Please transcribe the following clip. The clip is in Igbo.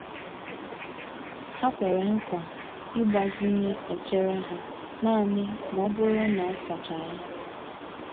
Ha kwere nkwa ịgbazinye echere ha naanị ma ọ bụrụ na a sachaa ya.